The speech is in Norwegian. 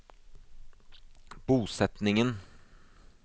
bosetningen